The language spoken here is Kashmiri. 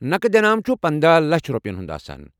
نقد انعام چھ پندہَ لچھَ رۄپیین ہٗند